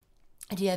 DR P2